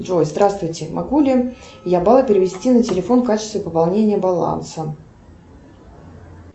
джой здравствуйте могу ли я баллы перевести на телефон в качестве пополнения баланса